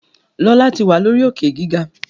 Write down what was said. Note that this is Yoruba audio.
Lọla tí wá lórí Òkè-gíga.